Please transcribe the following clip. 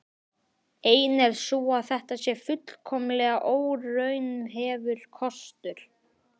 Ein er sú að þetta sé fullkomlega óraunhæfur kostur.